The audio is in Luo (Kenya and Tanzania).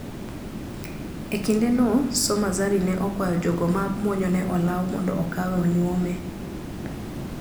E kinde no ,Soma Zari ne okwayo jogo ma muonyo ne olawo mondo okawe onyuome.